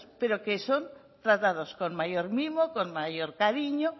pero que son tratados con mayor mimo con mayor cariño